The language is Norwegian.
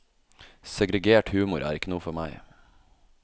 Segregert humor er ikke noe for meg.